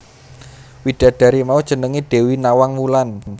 Widadari mau jenengé Dewi Nawang Wulan